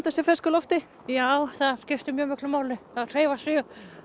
sér fersku lofti já það skiptir mjög miklu máli að hreyfa sig